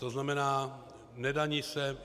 To znamená, nedaní se.